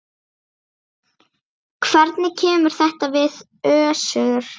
Hvernig kemur þetta við Össur?